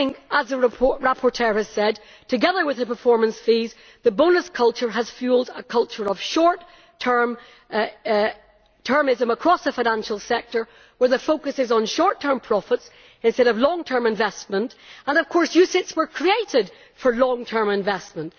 As the rapporteur has said, I think that, together with the performance fees, the bonus culture has fuelled a culture of short termism across the financial sector, where the focus is on short term profits instead of long term investment and of course UCITS were created for long term investment.